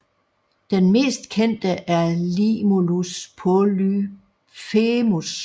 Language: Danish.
Den mest kendte er Limulus polyphemus